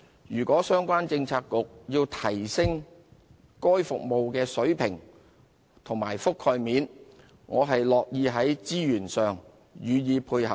如果相關政策局要提升該服務的水平及覆蓋面，我樂意在資源上予以配合。